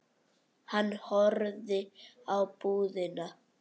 Hann horfði á búðina.